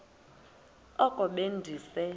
oko be ndise